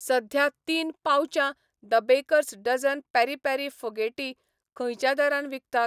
सध्या तीन पाउचां the baker's dozen peri peri फोगेटी खंयच्या दरान विकतात?